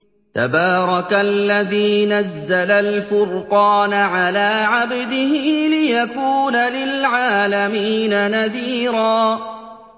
تَبَارَكَ الَّذِي نَزَّلَ الْفُرْقَانَ عَلَىٰ عَبْدِهِ لِيَكُونَ لِلْعَالَمِينَ نَذِيرًا